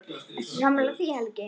Ertu sammála því Helgi?